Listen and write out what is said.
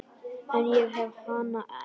En ég hef hana enn.